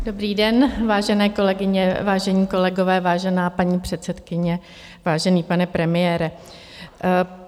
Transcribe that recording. Dobrý den, vážené kolegyně, vážení kolegové, vážená paní předsedkyně, vážený pane premiére.